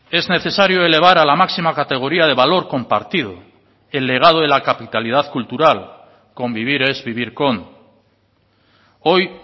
es necesario elevar a la máxima categoría de valor compartido el legado de la capitalidad cultural convivir es vivir con hoy